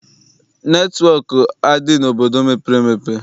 Netịwọk adị n'obodo mepere emepe?